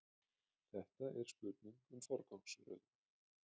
Þetta er spurning um forgangsröðun